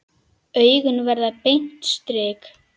Augun verða beint strik.